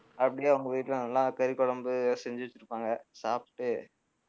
அப்படியே அவங்க வீட்டிலே நல்லா கறி குழம்பு செஞ்சு வைச்சிருப்பாங்க சாப்பிட்டு